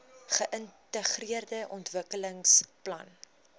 geintegreerde ontwikkelingsplan idp